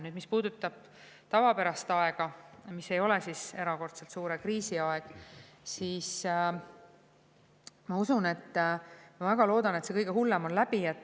Nüüd, mis puudutab tavapärast aega, mis ei ole erakordselt suure kriisi aeg, siis ma usun või väga loodan, et see kõige hullem on läbi.